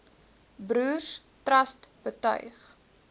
broers trust betuig